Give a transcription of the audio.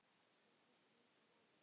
Hvað skiptir mestu máli?